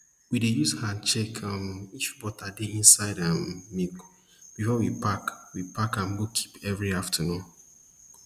we dey use hand check um if butter dey inside um milk before we pack we pack am go keep every afternoon